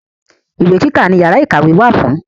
Ìwé kíkà ni yàrá ìkàwé wà fún.